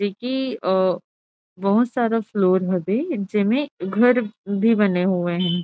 की अ बहुत सारा फ्लोर हवे जेमे घर भी बने हुए हे।